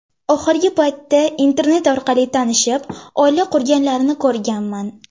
Oxirgi paytda Internet orqali tanishib, oila qurganlarni ko‘rganman.